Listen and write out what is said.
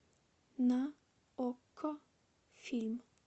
на окко фильм